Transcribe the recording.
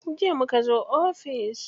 Jiya muka zo ofis.